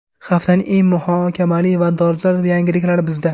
Haftaning eng muhokamali va dolzarb yangiliklari bizda.